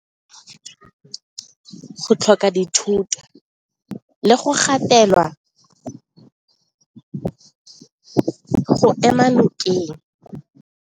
Go tlhoka dithoto le go gatela go ema nokeng.